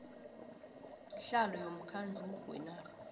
sihlalo womkhandlu wenarha